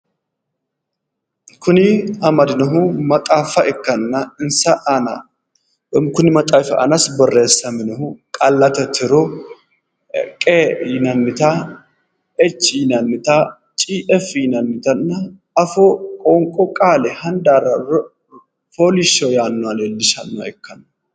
Kuni amadinohu maxaafa ikkanna insa aana kuni matsaafi aanasi borreessamimohu qaallate tiro qe yinannita echi yinannita cefi yinannitanna ofoo, qoonqo, qaale, handaara, fooliishsho yaannoha leellishanno.